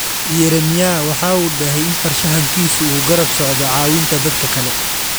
Yeremyaah waxa uu dahay in farshaxankiisu uu garab socdo caawinta dadka kale.